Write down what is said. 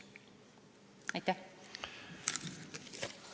Aitäh!